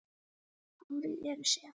Hárin eru sef.